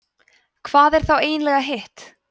hvað er þá eiginlega hitt